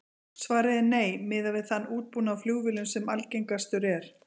Svarið er nei, miðað við þann útbúnað á flugvélum sem algengastur er.